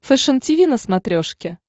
фэшен тиви на смотрешке